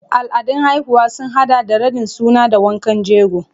Al'adun haihuwa sun haɗa da raɗin suna da wankan jego.